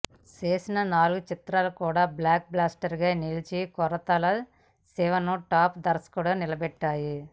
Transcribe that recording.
చేసిన నాలుగు చిత్రాలు కూడా బ్లాక్ బస్టర్స్ గా నిలిచి కొరటాల శివను టాప్ దర్శకుడిగా నిలబెట్టాయి